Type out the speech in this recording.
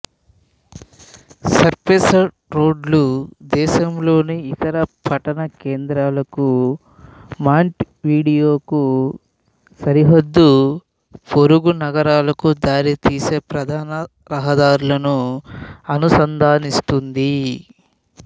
surfaced రోడ్ల దేశంలోని ఇతర పట్టణ కేంద్రాలకు మాంటవిడీయోకు సరిహద్దు పొరుగు నగరాలకు దారితీసే ప్రధాన రహదారులను అనుసంధానిస్తుంది